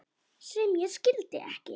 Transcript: sem ég skildi ekki